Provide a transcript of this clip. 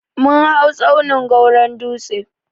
Mun hau tsaunin gwawron dutse.